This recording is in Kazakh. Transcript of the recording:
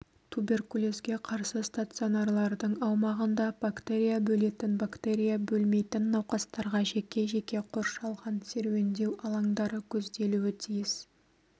туберкулезге қарсы стационарлардың аумағында бактерия бөлетін бактерия бөлмейтін науқастарға жеке-жеке қоршалған серуендеу алаңдары көзделуі тиіс